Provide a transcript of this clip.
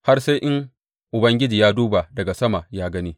Har sai in Ubangiji ya duba daga sama ya gani.